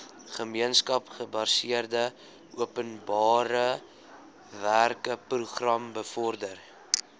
gemeenskapsgebaseerde openbarewerkeprogram bevorder